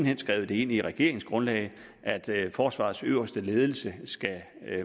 hen skrevet ind i regeringsgrundlaget at forsvarets øverste ledelse skal